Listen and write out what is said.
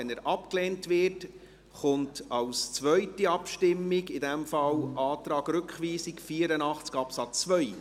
Wenn dieser abgelehnt wird, kommt folgt eine zweite Abstimmung über den Antrag glp auf Rückweisung von Artikel 84 Absatz 2.